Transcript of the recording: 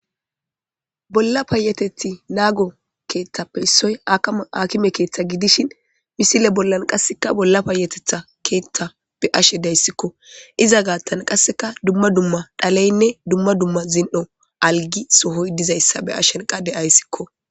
Bolla payatethi nago keethape issa gidiza issoy akime keetha gidishin misile billani qaseka bolla payatetha keetha beyashe daysiko izan gathan qaseka duma duma dhaletinne dumma dumma zin'o alga sohoy dizayssa beyashe daysiko.